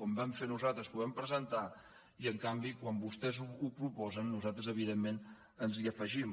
com vam fer nosaltres que ho vam presentar s’hi voti en contra i en canvi quan vostès ho proposen nosaltres evidentment ens hi afegim